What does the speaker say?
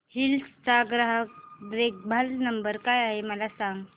hills चा ग्राहक देखभाल नंबर काय आहे मला सांग